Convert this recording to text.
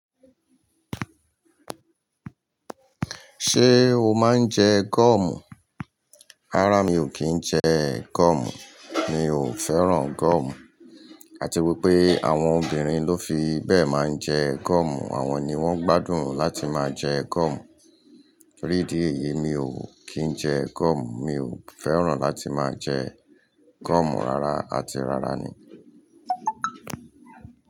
Ṣé o máa ń jẹ gọ̀ọ̀mù? Rárá mi ò kí ń jẹ gọ̀ọ̀mù, mi ò fẹ́ràn gọ̀ọ̀mù. Àti wípé àwọn obìnrin ló fi bẹ́ẹ̀ máa ń jẹ gọ̀ọ̀mù, àwọn ni wón gbádùn láti máa jẹ gọ̀ọ̀mù. Ní di éyìí, mi ò kí ń jẹ gọ̀ọ̀mù, mi ò fẹ́ràn láti máa jẹ gọ̀ọ̀mù rárá, àti rárá ni.